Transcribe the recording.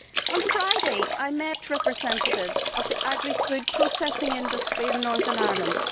On Friday, I met representatives of the agri food processing industry in Northern Ireland.